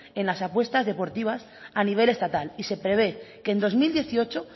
en las apuestas deportivas a nivel estatal y se prevé que en dos mil dieciocho